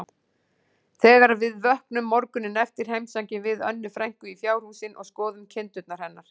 Þegar við vöknum morguninn eftir heimsækjum við Önnu frænku í fjárhúsin og skoðum kindurnar hennar.